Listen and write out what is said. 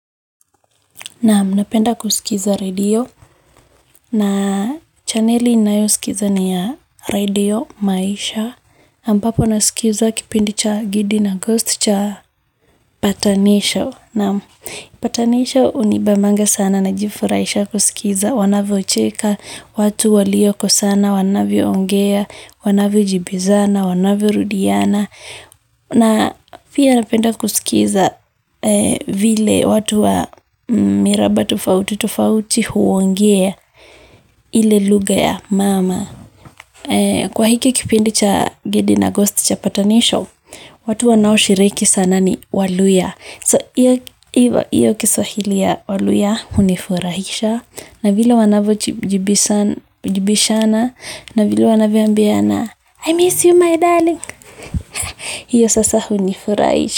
Naam napenda kusikiza redio. Na chaneli ninayosikiza ni ya Radio Maisha. Ambapo nasikiza kipindi cha Gidi na Ghost cha Patanisho. Naam. Patanisho hunibambanga sana na jifurahisha kusikiza. Wanavyocheka, watu waliokosana wanavyoongea, wanavyojibizana, wanavyorudiana. Na pia napenda kusikiza vile watu wa miraba tufautitufauti huongea ile lugha ya mama. Kwa hiki kipindi cha Gidi na Ghost cha Patanisho, watu wa nao shiriki sana ni Waluhya. So, hiyo Kiswahili ya waluhya, hunifurahisha. Na vile wanavyojibishana, na vile wanavyoambiana, I miss you my darling. Hiyo sasa hunifurahisha.